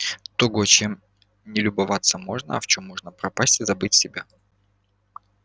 того чем не любоваться можно а в чем можно пропасть и забыть себя